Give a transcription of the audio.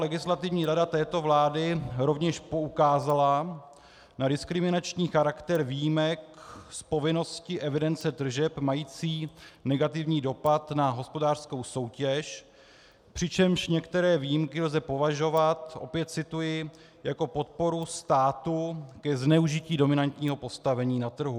Legislativní rada této vlády rovněž poukázala na diskriminační charakter výjimek z povinnosti evidence tržeb, mající negativní dopad na hospodářskou soutěž, přičemž některé výjimky lze považovat, opět cituji, jako podporu státu i zneužití dominantního postavení na trhu.